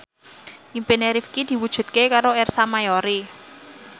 impine Rifqi diwujudke karo Ersa Mayori